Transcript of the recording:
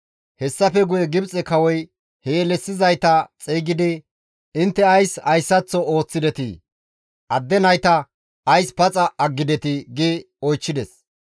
Hessafe guye Gibxe kawoy he yelissizayta xeygidi, «Intte ays hayssaththo ooththidetii? Attuma nayta ays paxa aggidetii?» gi oychchides.